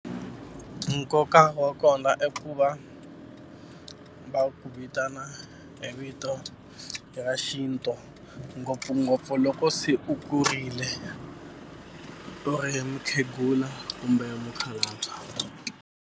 Nkoka wa kona i ku va va ku vitana hi vito ra xintu ngopfungopfu loko se u kurile u ri mukhegula kumbe mukhalabya.